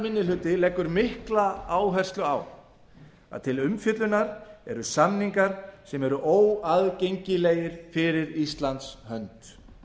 minni hluti leggur mikla áherslu á að til umfjöllunar eru samningar sem eru óaðgengilegir fyrir íslands hönd